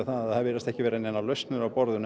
að það virðast ekki vera neinar lausnir á borðinu